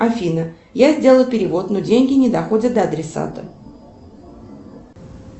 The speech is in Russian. афина я сделала перевод но деньги не доходят до адресата